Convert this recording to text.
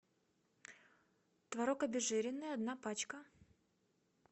творог обезжиренный одна пачка